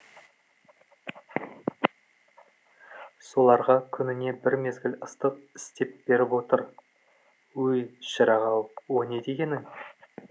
соларға күніне бір мезгіл ыстық істеп беріп отыр өй шырақ ау о не дегенің